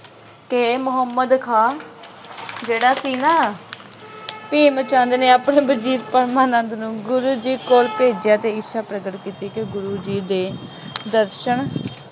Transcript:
ਕਿ ਮੁਹੰਮਦ ਖਾਂ ਜਿਹੜਾ ਸੀ ਨਾ ਭੀਮ ਚੰਦ ਨੇ ਆਪਣੇ ਵਜ਼ੀਰ ਪਰਮਾਨੰਦ ਨੂੰ ਗੁਰੂ ਜੀ ਕੋਲ ਭੇਜਿਆ ਅਤੇ ਇੱਛਾ ਪ੍ਰਗਟ ਕੀਤੀ ਕਿ ਗੁਰੂ ਜੀ ਦੇ ਦਰਸ਼ਨ